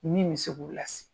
Min mi se k'o las